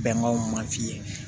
Bɛnbaw ma f'i ye